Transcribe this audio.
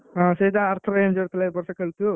ହଁ ସେ ଆର ଥରକ injured ଥିଲା ଏଇଥର ଖେଳୁଥିବ ଆଉ।